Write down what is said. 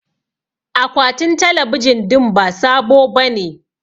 Akwatin talabijin din ba sabo bane